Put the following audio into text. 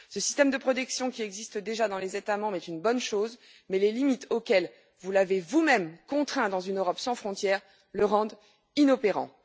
Ce système de protection qui existe déjà dans les États membres est une bonne chose mais les limites auxquelles vous l'avez vous même contraint dans une Europe sans frontières le rendent inopérant.